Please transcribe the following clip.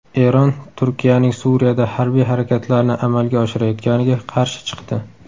Eron Turkiyaning Suriyada harbiy harakatlarni amalga oshirayotganiga qarshi chiqdi.